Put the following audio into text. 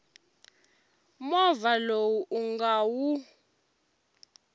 movha lowu u nga wu